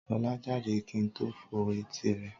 Sọlá jáde kí n tó fọ́ etí rẹ̀.